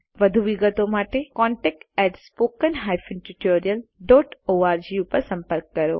વધુ વિગતો માટે contactspoken tutorialorg પર સંપર્ક કરો